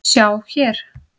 sjá hér!